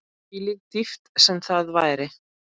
Hvílík dýpt sem það væri.